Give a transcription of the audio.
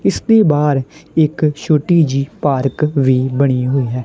ਇਸ ਦੇ ਬਾਹਰ ਇੱਕ ਛੋਟੀ ਜਿਹੀ ਪਾਰਕ ਵੀ ਬਣੀ ਹੋਈ ਹੈ।